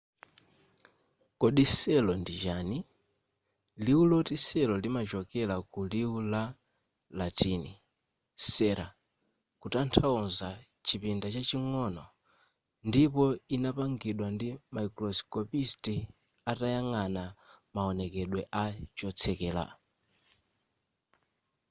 kodi cell ndi chani liwu loti cell limachokera ku liwu la latin cella kuthandauza chipinda chaching'ono ndipo inapangidwa ndi microscopist atayang'ana mawonekedwe a chotsekera